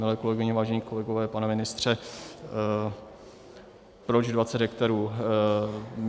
Milé kolegyně, vážení kolegové, pane ministře, proč 20 hektarů?